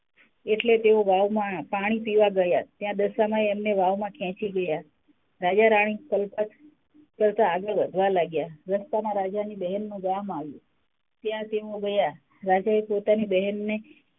એટલે તેઓ વાવમાં પાણી પીવા ગયાં ત્યાં દશામાંએ એમને વાવમાં ખેચી ગયાં રાજા -રાણી તરતાં -તરતાં આગળ વધવા લાગ્યાં રસ્તામાં રાજાની બહેનનું ગામ આવ્યું ત્યાં તેઓ ગયાં રાજાએ પોતાની બહેનને,